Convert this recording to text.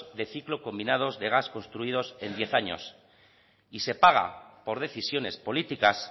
de ciclo combinados de gas construidos en diez años y se paga por decisiones políticas